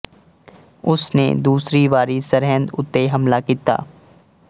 ਉਸ ਨੇ ਦੂਸਰੀ ਵਾਰੀ ਸਰਹਿੰਦ ਉੱਤੇ ਹਮਲਾ ਕੀਤਾ